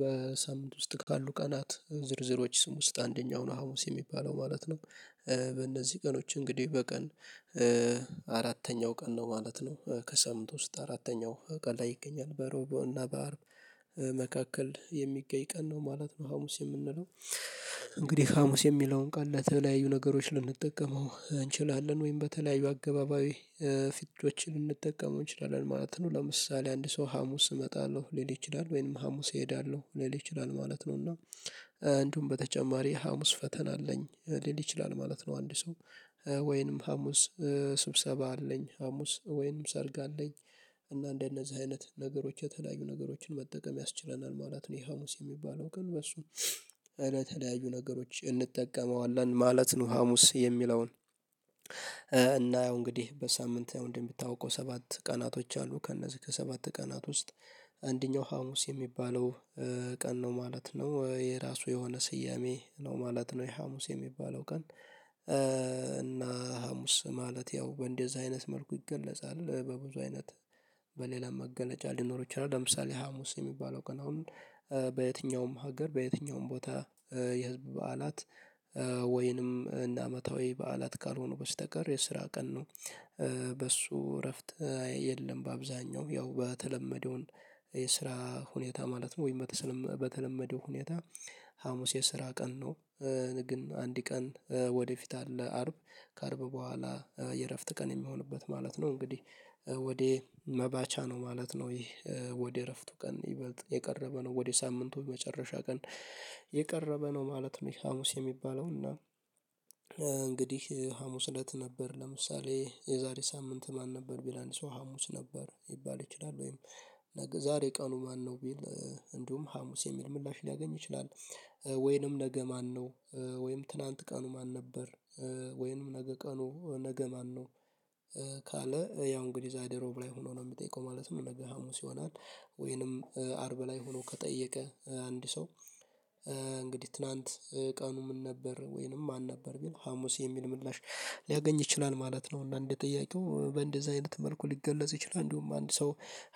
በሳምንት ውስጥ ካሉ ቀናት ዝርዝሮች ስም ውስጥ አንደኛው ነው ሀሙስየሚባለው ማለት ነው በእነዚህ ቀኖች እንግዲህ በቀን አራተኛው ቀን ነው ማለት ነው። ከሳምንት ውስጥ አራተኛው ቀን ላይ ይገኛል። በሮብ እና በአርብ መካከል የሚገኝ ቀን ነው ማለት ነው ሀሙስ የምንለው። እንግዲህ ሀሙስ የሚለውን ቃል ለተለያዩ ነገሮች ልንጠቀመው እንችላለን ወይም በተለያዩ አገባባይ ልንጠቀመው እንችላለን ማለት ነው። ለምሳሌ አንድ ሰው ሀሙስ እመጣለሁ ሊል ይችላል። ወይንም ሀሙስ እሄዳለሁ ሊል ይችላል። ማለት ነው እና እንደውም በተጨማሪ ሀሙስ ፈተና አለኝ ሊል ይችላል ማለት ነው አንድ ሰው ወይንም ሀሙስ ስብሰባ አለኝ ሀሙስ ወይንም ሰርግ አለኝ። እና እንደነዚህ አይነት ነገሮች የተለያዩ ነገሮችን መጠቀም ያስችለናል። ማለት ነው ይሄ ሀሙስ የሚባለው ግን በሱ አይነት የተለያዩ ነገሮች እንጠቀመዋለን ማለት ነው። ሀሙስ የሚለውን እና ያው እንግዲህ በሳምንት እንደምታውቀው ሰባት ቀናቶች አሉ ከእነዚህ ከሰባት ቀናት ውስጥ አንደኛው ሀሙስ የሚባለው ቀን ነው ማለት ነው። የራሱ የሆነ ስያሜ ነው ማለት ነው። የሀሙስ የሚባለው ቀን እና ሀሙስ ማለት ያው እንደዚህ አይነት መልኩ ይገለጻል። በብዙ አይነት በሌላ መገለጫ ሊኖሩ ይችላል። ለምሳሌ ሀሙስ የሚባለው ቀን አሁን በየትኛውም ሀገር በየትኛውም ቦታ የህዝብ በዓላት ወይንም እንደ አመታዊ በዓላት ካልሆኑ በስተቀር የስራ ቀን ነው። በሱ እረፍት የለም። በአብዛኛው ያው በተለመደው የስራ ሁኔታ ማለት ነው። ወይም በተለመደው ሁኔታ ሀሙስ የስራ ቀን ነው። ግን አንድ ቀን ወደፊት አለ አርብ ከአርብ በኋላ የእረፍት ቀን የሚሆንበት ማለት ነው። እንግዲህ ወደ መባቻ ነው ማለት ነው። ይህ ወደ እረፍቱ ቀን ይበልጥ የቀረበ ነው። ወደ ሳምንቱ መጨረሻ ቀን የቀረበ ነው ማለት ነው። ይሄ ሀሙስ የሚባለው እና እንግዲህ ሀሙስ እለት ነበር። ለምሳሌ የዛሬ ሳምንት ማን ነበር ቢል አንድ ሰው ሀሙስ ነበር ይባል ይችላል። ወይም ዛሬ ቀኑ ማነው ቢል እንዲሁም ሀሙስ የሚል ምላሽ ሊያገኝ ይችላል። ወይንም ነገ ማነው ወይም ትላንት ቀኑ ማን ነበር? ወይንም ነገ ቀኑ ነገ ማነው? ካለ ያው እንግዲህ ዛሬ ሮብ ላይ ሆኖ ነው። የሚጠይቀው ማለት ነው ነገ ሀሙስ ይሆናል። ወይንም አርብ ላይ ሆኖ ከጠየቀ አንድ ሰው እንግዲህ ትናንት ምን ነበር ወይንም ማን ነበር ቢል ሀሙስ የሚል ምላሽ ሊያገኝ ይችላል ማለት ነው እና እንደየት ጠያቂው። በእንደዚህ አይነት መልኩ ሊገለጽ ይችላል። አንድ ሰው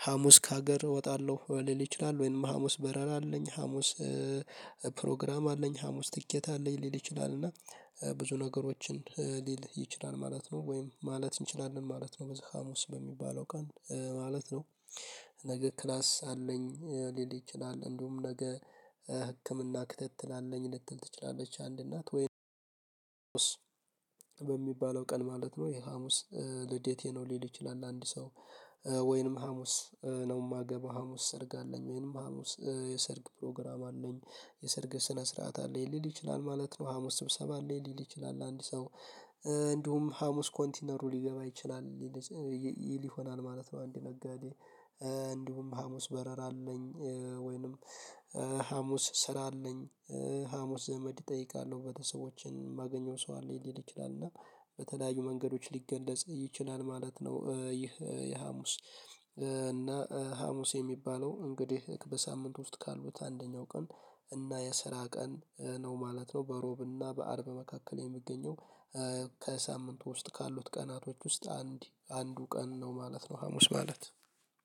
ሀሙስ ከሀገር እወጣለሁ ሊል ይችላል ወይንም ሀሙስ በረራ አለኝ ሀሙስ ፕሮግራም አለኝ ሀሙስ ትኬት አለኝ ሊል ይችላል። እና ብዙ ነገሮችን ሊል ይችላል ማለት ነው። ወይም ማለት እንችላለን ማለት ነው በዚህ ሀሙስ በሚባለው ቀን ማለት ነው። ነገ ክላስ አለኝ ሊል ይችላል። እንደውም ነገ ህክምና ክትትል አለኝ ልትል ትችላለች አንድ እናት። ወይንም በሚባለው ቀን ማለት ነው ሀሙስ ልዴቴ ነው ሊል ይችላል አንድ ሰው። ወይንም ሀሙስ ነው የማገባው፤ ሀሙስ ሰርግ አለኝ፤ ወይንም ሀሙስ የሰርግ ፕሮግራም አለኝ፤ የሰርግ ስነ ስርዓት አለኝ ሊል ይችላል ማለት ነው። ሀሙስ ስብሰባ አለኝ ሊል ይችላል። አንድ ሰው እንዲሁም ሀሙስ ኮንቲነሩ ሊገባ ይችላል። ይሄ ይሆናል ማለት ነው አንድ ነጋዴ እንዲሁም ሀሙስ በረራ አለኝ ወይንም ሀሙስ ስራ አለኝ ሀሙስ ዘመድ እጠይቃለሁ፤ ቤተሰቦችን የማገኘው ሰው አለ ሊል ይችላል እና በተለያዩ መንገዶች ሊገለጽ ይችላል ማለት ነው። ይህ የሀሙስ እና ሀሙስ የሚባለው እንግዲህ በሳምንት ውስጥ ካሉት አንደኛው ቀን እና የስራ ቀን ነው ማለት ነው በሮብ እና በአርብ መካከል የሚገኘው። ውስጥ ካሉት ቀናቶች ውስጥ አንድ አንዱ ቀን ነው ማለት ነው ሀሙስ ማለት።